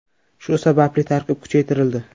Shu sababli tarkib kuchaytirildi.